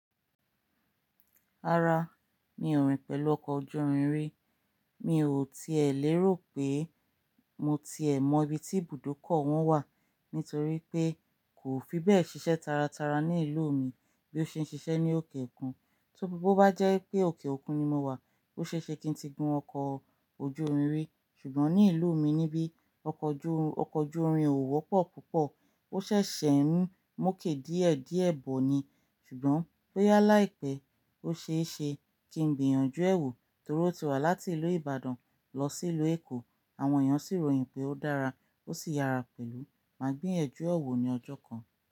Rárá, mi ò rìn pẹ̀lú ọkọ̀ ojú irin rí. Mi ò tiẹ̀ lérò pé mo ti è mọ ibi tí ibùdókọ̀ wọn wà nítorí pé kò fi bẹ́ẹ̀ ṣiṣẹ́ taratara ní ìlú mi bí ó ṣe ń ṣiṣẹ́ ní òkè òkun. Tí ó bá jẹ́ pé òkè òkun ni mo wà, ó ṣe é ṣe kí n ti gun ọkọ̀ ojú irin rí. Ṣùgbọ́n ní ìlú mi níbí, ọkọ̀ ojú, ọkọ̀ ojú irin ò wọ́pọ̀ púpọ̀. Ó ṣẹ̀ṣẹ̀ ń mú òkè díẹ̀ díẹ̀ bọ̀ ni. Ṣùgbọ́n bóyá láìpẹ́, ó ṣe é ṣe kí n gbìyànjú ẹ̀ wo torí ó ti wà láti ìlú Ìbàdàn lọ sí ìlú Èkó. Àwọn èèyàn sì ròyìn pé ó dára, ó sì yára pẹ̀lú. Máa gbìyànjú re wo ní ọjọ́ kan.